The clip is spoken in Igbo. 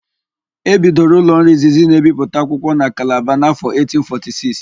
E bidoro ụlọọrụ izizi na-ebipụta akwụkwọ na Kalaba n'áfọ̀ 1846.